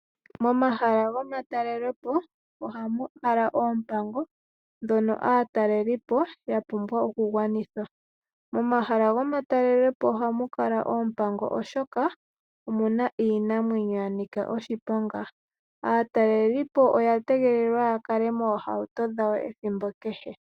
Momahala gomatalelepo ohamukala oompango dhono aatalelipo yapumbwa okugwanitha. Momahala gomatalelepo ohamukala oompango oshoka, omuna iinamwenyo yanika oshiponga. Aatalelipo oya tegelelwa yakale moohauto dhawo ethimbo kehe.